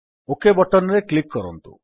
okay button ରେ click କରନ୍ତୁ